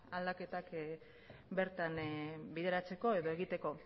aldaketak bertan bideratzeko edo egiteko